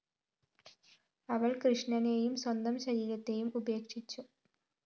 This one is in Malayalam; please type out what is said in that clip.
അവള്‍ കൃഷ്ണനേയും സ്വന്തം ശരീരത്തേയും ഉപേക്ഷിച്ചു